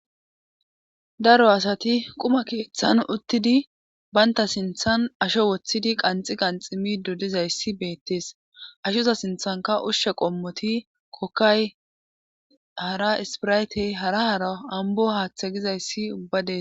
Daro asati quma keeththan uttidi banta sinthan asho woththidi qanxi qanxido diza issi beettees. Ashoza sinthanka ushshe qommoti kokkay, hara ispiraytey, hara hara ambo haaththe giza issi ubba dees.